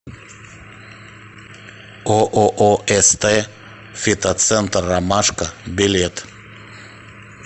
ооо ст фитоцентр ромашка билет